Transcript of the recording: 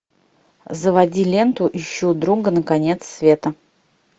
заводи ленту ищу друга на конец света